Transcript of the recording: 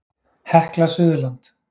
Hekla Suðurland.